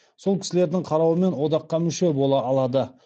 сол кісілердің қарауымен одаққа мүше бола алады